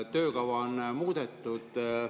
Töökava on muudetud.